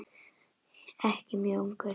Ekki mjög ungur.